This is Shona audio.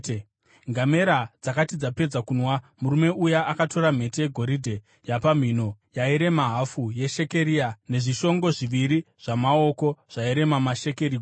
Ngamera dzakati dzapedza kunwa, murume uya akatora mhete yegoridhe yapamhino yairema hafu yeshekeri nezvishongo zviviri zvamaoko zvairema mashekeri gumi .